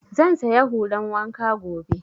Zan saya hulan wanka gobe